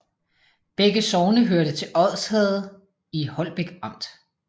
Begge sogne hørte til Odsherred i Holbæk Amt